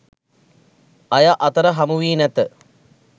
අය අතර හමු වී නැත.